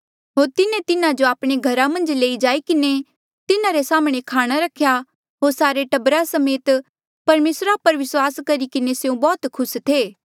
होर तिन्हें तिन्हा जो आपणे घरा मन्झ लई जाई किन्हें तिन्हारे साम्हणें खाणा रख्या होर सारे टब्बरा समेत परमेसरा पर विस्वास करी किन्हें स्यों बौह्त खुस थे